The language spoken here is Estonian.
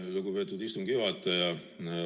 Lugupeetud istungi juhataja!